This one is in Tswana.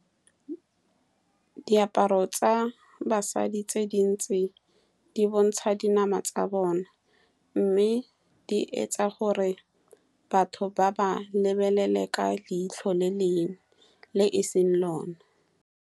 Diaparo tsa basadi tse dintsi di bontsha dinama tsa bona, mme di etsa gore batho ba ba lebelele ka leitlho le le e seng lone.